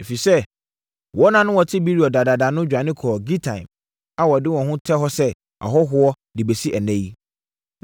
ɛfiri sɛ, wɔn a na wɔte Beerot dadaada no dwane kɔɔ Gitaim a wɔda so te hɔ sɛ ahɔhoɔ de bɛsi ɛnnɛ yi.